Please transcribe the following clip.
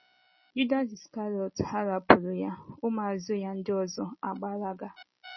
Judas Iskarịọt gharipuru ya, ụmụ azụ ya ndị ọzọ agbalaga